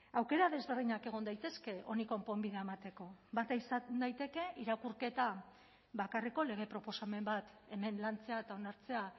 aukera desberdinak egon daitezke honi konponbidea emateko bata izan daiteke irakurketa bakarreko lege proposamen bat hemen lantzea eta onartzea